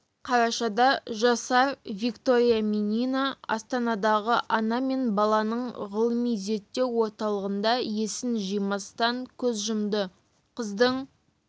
қарашада жасар виктория минина астанадағы ана мен баланың ғылыми зерттеу орталығында есін жимастан көз жұмды қыздың